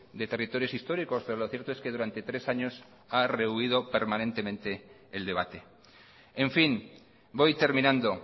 de territorios históricos pero lo cierto es que durante tres años ha rehuido permanentemente el debate en fin voy terminando